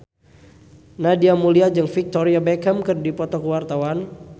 Nadia Mulya jeung Victoria Beckham keur dipoto ku wartawan